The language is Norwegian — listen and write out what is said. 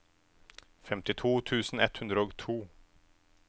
femtito tusen ett hundre og to